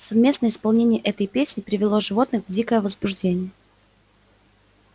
совместное исполнение этой песни привело животных в дикое возбуждение